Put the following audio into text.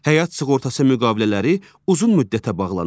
Həyat sığortası müqavilələri uzun müddətə bağlanır.